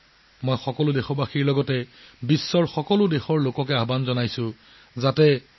মই সকলো দেশবাসীক পৃথিৱীৰ সকলো লোকক আহ্বান জনাও যে মাৰ নামত এজোপা গছ ৰোপণ কৰক